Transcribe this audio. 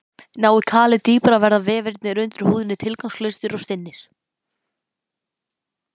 Nái kalið dýpra verða vefirnir undir húðinni tilfinningalausir og stinnir.